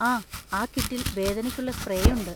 ആ, ആ കിറ്റിൽ വേദനയ്ക്കുള്ള സ്പ്രേ ഉണ്ട്.